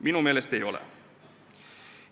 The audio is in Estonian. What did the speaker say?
Minu meelest ei ole.